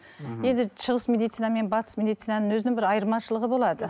мхм енді шығыс медицина мен батыс медицинаның өзінің бір айырмашылығы болады